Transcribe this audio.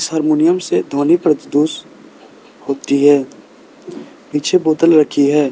Harmonium से ध्वनि प्रदुष होती है पीछे बोतल रखी है।